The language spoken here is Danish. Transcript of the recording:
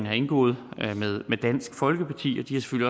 har indgået med dansk folkeparti